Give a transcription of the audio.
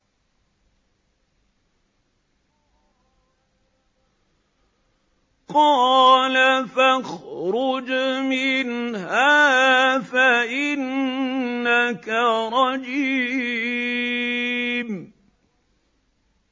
قَالَ فَاخْرُجْ مِنْهَا فَإِنَّكَ رَجِيمٌ